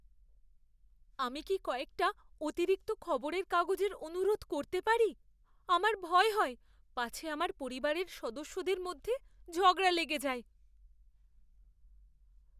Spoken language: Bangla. আমি কি কয়েকটা অতিরিক্ত খবরের কাগজের অনুরোধ করতে পারি? আমার ভয় হয় পাছে আমার পরিবারের সদস্যদের মধ্যে ঝগড়া লেগে যায়!